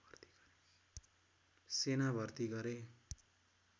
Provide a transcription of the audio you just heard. सेना भर्ती गरे